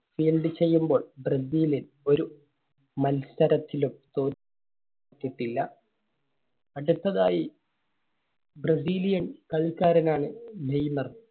ചെയ്യുമ്പോൾ ബ്രസീല് ഒരു മത്സരത്തിലും തോ~റ്റിട്ടില്ല. അടുത്തതായി brazil യൻ കളിക്കാരനാണ് നെയ്‌മർ.